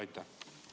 Aitäh!